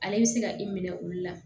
Ale bɛ se ka i minɛ olu la